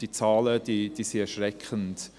Diese Zahlen sind erschreckend.